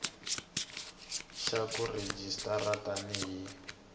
xa ku rejistara tani hi